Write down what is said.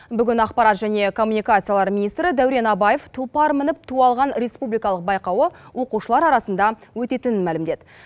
бүгін ақпарат және коммуникациялар министрі дәурен абаев тұлпар мініп ту алған республикалық байқауы оқушылар арасында өтетінін мәлімдеді